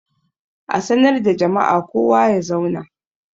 A sanar da jama'a kowa ya zauna!